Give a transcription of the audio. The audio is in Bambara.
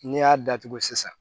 N'i y'a datugu sisan